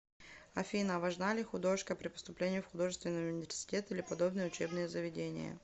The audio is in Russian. афина важна ли художка при поступлении в художественный университет или подобное учебное заведение